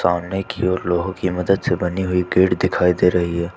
सामने की ओर लोहो की मदद से बनी हुई गेट दिखाई दे रही है।